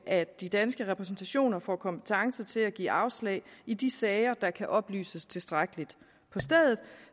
at de danske repræsentationer får kompetence til at give afslag i de sager der kan oplyses tilstrækkeligt på stedet